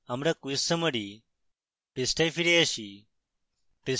আমরা quiz summary পৃষ্ঠায় ফিরে আসি